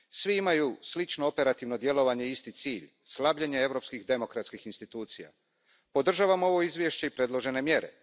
Svi imaju slično operativno djelovanje i isti cilj slabljenje europskih demokratskih institucija. Podržavam ovo izvješće i predložene mjere.